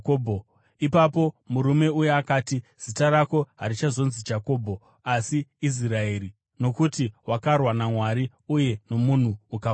Ipapo murume uya akati, “Zita rako harichazonzi Jakobho, asi Israeri, nokuti wakarwa naMwari uye nomunhu ukakunda.”